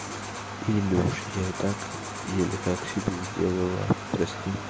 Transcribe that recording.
илюш я и так еле как себе сделала прости